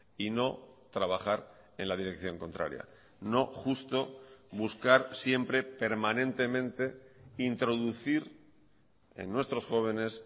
y no trabajar en la dirección contraria no justo buscar siempre permanentemente introducir en nuestros jóvenes